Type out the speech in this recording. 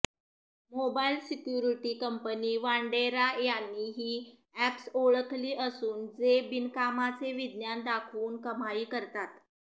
mobile security company Wandera यांनी ही apps ओळखली असून जे बिनकामाचे विज्ञान दाखवून कमाई करतात